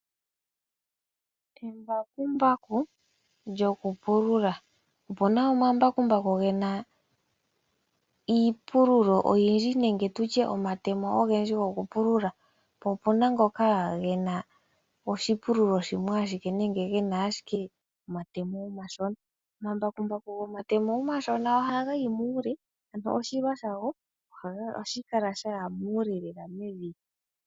Embakumbaku lyoku pulula. Opuna omambakumbaku gena iipululo oyindji nenge tutye omatemo ogendji gokupulula. Po opena ngoka gena oshipululo shimwe ashike nenge gena ashike omatemo omashona. Omambakumbaku gomatemo omashona ohaga yi muule ano oshilwa shago ohashi kala shaya muule lela.